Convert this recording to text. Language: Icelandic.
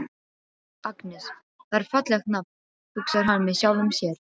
Agnes, það er fallegt nafn, hugsar hann með sjálfum sér.